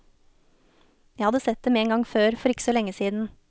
Jeg hadde sett dem en gang før, for ikke så lenge siden.